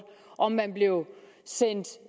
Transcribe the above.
om man blev sendt